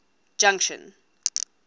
junction